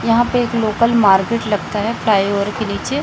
यहां पे एक लोकल मार्केट लगता है फ्लाईओवर के नीचे--